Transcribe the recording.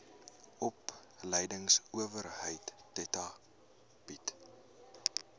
opleidingsowerheid theta bied